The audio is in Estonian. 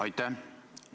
Aitäh!